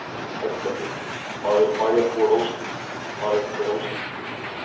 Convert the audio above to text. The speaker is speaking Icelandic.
Erla Björg: En hvað eru bæjarbúar ósáttir við, hvað eru þeir ósáttir við?